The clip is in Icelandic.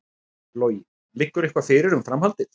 Logi: Liggur eitthvað fyrir um framhaldið?